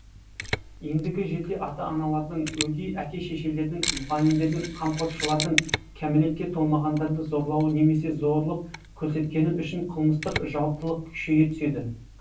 ендігі жерде ата аналардың өгей әке шешелердің мұғалімдердің қамқоршылардың кәмелетке толмағандарды зорлауы немесе зорлық көрсеткені үшін қылмыстық жауаптылық күшейе түседі